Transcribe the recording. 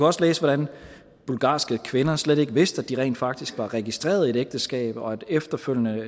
også læse hvordan bulgarske kvinder slet ikke vidste at de rent faktisk var registreret i et ægteskab og efterfølgende